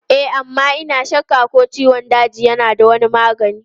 E amma ina shakka ko ciwon daji yana da wani magani.